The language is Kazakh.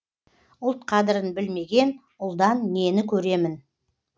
ұлт қадірін білмеген ұлдан нені көремін